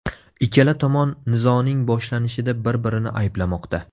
Ikkala tomon nizoning boshlanishida bir-birini ayblamoqda .